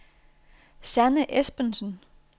Sanne Espensen